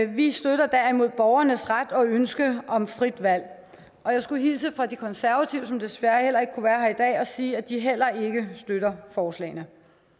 vi støtter derimod borgernes ret til og ønske om frit valg og jeg skulle hilse fra de konservative som desværre ikke kunne være her i dag og sige at de heller ikke støtter forslagene